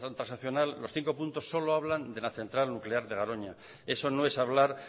transaccional los cinco puntos solo hablan de la central nuclear de garoña eso no es hablar